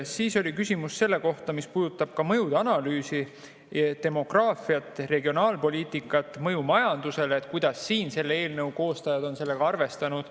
Siis oli küsimus selle kohta, mis puudutab mõjude analüüsi ja demograafiat, regionaalpoliitikat, mõju majandusele, et kuidas eelnõu koostajad on sellega arvestanud.